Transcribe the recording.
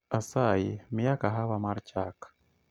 Asayi miya kahawa mar chak